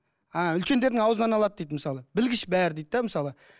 ааа үлкендердің аузынан алады дейді мысалы білгіш бәрі дейді де мысалы